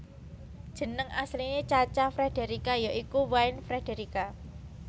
Jeneng asline Cha Cha Frederica ya iku Wynne Frederica